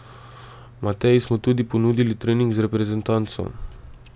Mateji smo tudi ponudili trening z reprezentanco.